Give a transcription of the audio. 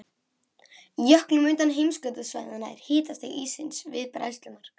Í jöklum utan heimskautasvæðanna er hitastig íssins við bræðslumark.